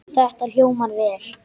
Þetta hljómar vel.